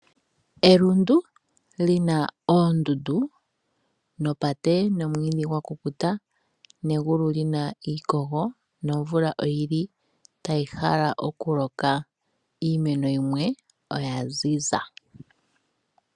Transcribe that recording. Elundu lina oondundu, opate, omwiidhi gwakukuta negulu lyina iikogo nomvula tayi hala okuloka iimeno yimwe oya ziza.